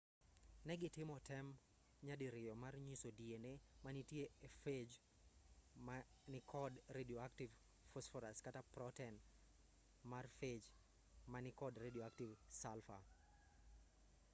negitimo tem nyadiriyo mar nyiso dna manitie e phage ma nikod radioactive phosphorus kata proten mar phage ma nikod radioactive sulfur